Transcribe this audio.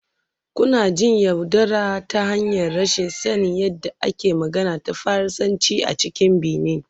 Kuna jin yaudara ta hanyar rashin sanin yadda ake magana da Faransanci a cikin Benin